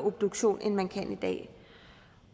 obduktion end man kan i dag